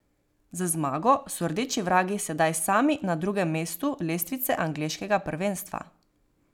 Z zmago so rdeči vragi sedaj sami na drugem mestu lestvice angleškega prvenstva.